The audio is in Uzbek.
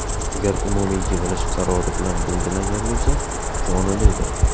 Agar umumiy yig‘ilish qarori bilan belgilangan bo‘lsa, qonuniydir.